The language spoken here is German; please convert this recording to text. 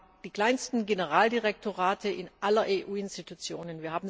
Wir haben die kleinsten Generaldirektorate aller EU Institutionen.